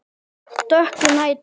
Dökkur nætur